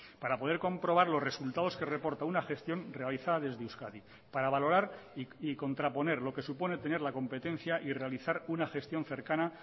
para poder comprobar los resultados que reporta una gestión realizada desde euskadi para valorar y contraponer lo que supone tener la competencia y realizar una gestión cercana